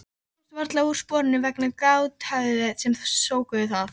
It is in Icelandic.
Barnið komst varla úr sporunum vegna gráthviðanna sem skóku það.